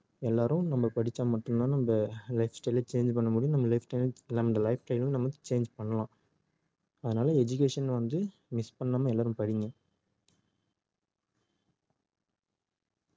எல்லாரும் நம்ம படிச்சா மட்டும் தான் நம்ம life style அ change பண்ண முடியும் நம்ம life style உம் life style உம் நம்ம change பண்ணலாம் அதனால education வந்து miss பண்ணாம எல்லாரும் படிங்க